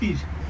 41.